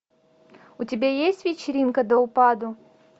у тебя есть вечеринка до упаду